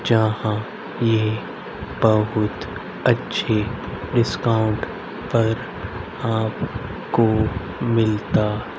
यहां पे बहुत अच्छी डिस्काउंट पर आपको मिलता--